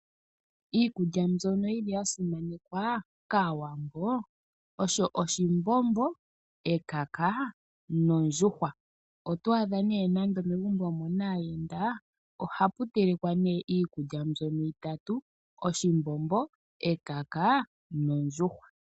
Iikulya mbyono yili ya simanekwa kaAwambo osho oshimbombo, ekaka nondjuhwa, otwaadha ne megumbo ngele mu na aayenda oha pu telekwa iikulya mbyono itatu oshimbombo, ekaka nondjuhwa.